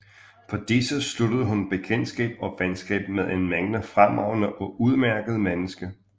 På disse sluttede hun bekendtskab og venskab med en mængde fremragende og udmærkede mennesker